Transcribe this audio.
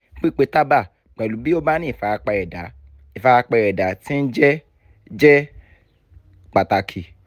pípẹ̀ tábà pẹ̀lú bí o bá ní ìfarapa ẹ̀dá ìfarapa ẹ̀dá tí ń jẹ́ jẹ́ pàtàkì